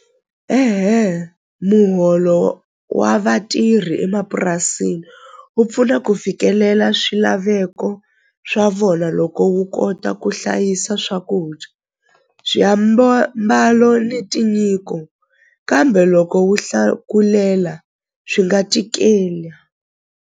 muholo wa vatirhi emapurasini wu pfuna ku fikelela swilaveko swa vona loko wu kota ku hlayisa swakudya ni tinyiko kambe loko wu hlakulela swi nga .